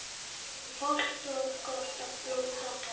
Hollt og gott að blóta